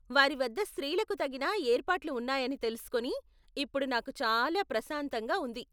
వారి వద్ద స్త్రీలకు తగిన ఏర్పాట్లు ఉన్నాయని తెలుసుకొని ఇప్పుడు నాకు చాలా ప్రశాంతంగా ఉంది.